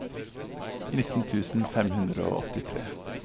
nittien tusen fem hundre og åttitre